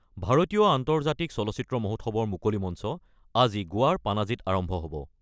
ভাৰতীয় আন্তৰ্জাতিক চলচ্চিত্ৰ মহোৎসৱৰ মুকলি মঞ্চ আজি গোৱাৰ পানাজীত আৰম্ভ হ'ব।